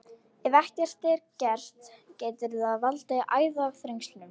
Ef ekkert er að gert getur það valdið æðaþrengslum.